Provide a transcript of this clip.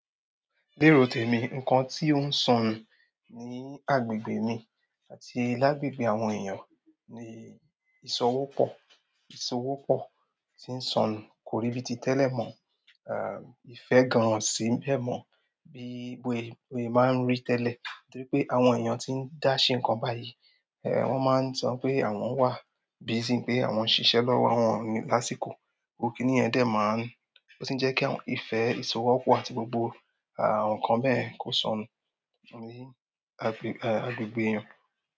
Léro tèmi, ǹkan tí ó ń sọnù ní agbègbè mi àti lágbègbè àwọn èèyàn ni ìsowó pọ̀. Ìsowó pọ̀ tí ń sọnù kóríbi ti tẹ́lẹ̀ mọ̀, ìfẹ́ gan an o sì ń bẹ́ mọ̀ bí ibo èèyàn máa ń rí tẹ́lẹ̀. Nítorí pé àwọn èèyàn tí ń dáṣẹ ǹkan báyìí, ẹ́ wọ́n máa ń sọ pé àwọn wà, busy n pé àwọn ń ṣiṣẹ́ lọ́wọ́ àwọn olasiko. Kìníyẹ̀n dẹ́ máa ń, ó tì ń jẹ́ kí ìfẹ́, ìsowó pọ̀ àti gbogbo àwọn ǹkan bẹ́ẹ̀ kó sọnù ní agbègbè èèyàn.